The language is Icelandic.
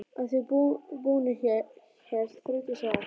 Að því búnu hélt Þórdís að